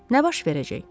Nə baş verəcək?